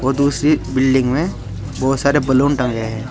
दूसरी बिल्डिंग में बहुत सारे बलून टांगे हैं।